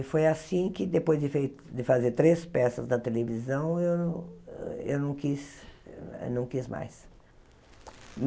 E foi assim que, depois de fe de fazer três peças na televisão, eu eu não quis não quis mais.